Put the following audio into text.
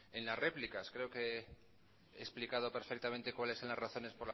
en las réplicas creo que he explicado perfectamente cuáles son las razones